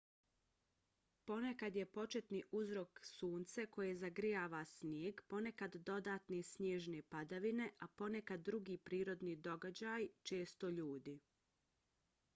ponekad je početni uzrok sunce koje zagrijava snijeg ponekad dodatne snježne padavine a ponekad drugi prirodni događaji često ljudi